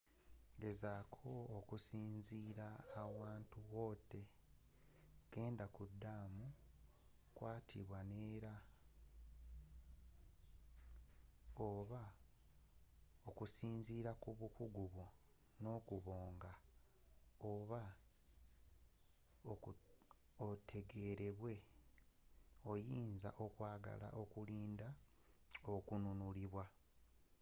gezaaako okusinziirira awantu wotta genda kuddamu kwatibwa neera oba, okusinziira ku bukugu bwo n’okubanga oba otegereeddwa oyinza okwagala okulinda okununulwa